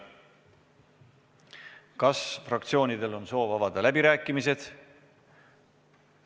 Kas fraktsioonidel on soov avada läbirääkimised?